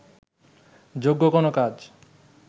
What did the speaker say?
যোগ্য কোনো কাজ